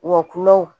Wa kulɔn